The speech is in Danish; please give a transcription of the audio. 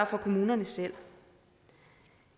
for kommunerne selv